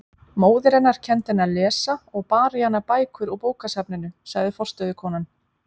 Móðir hennar kenndi henni að lesa og bar í hana bækur úr bókasafninu, sagði forstöðukonan.